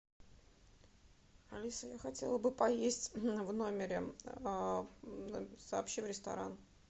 алиса я хотела бы поесть в номере сообщи в ресторан